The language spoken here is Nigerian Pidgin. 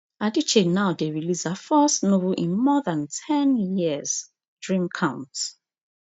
adichie now dey release her first novel in more than ten years dream count